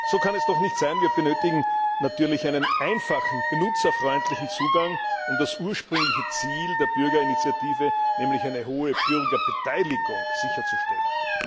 So kann es doch nicht sein! Wir benötigen natürlich einen einfachen, benutzerfreundlichen Zugang, um das ursprüngliche Ziel der Bürgerinitiative, nämlich eine hohe Bürgerbeteiligung, sicherzustellen.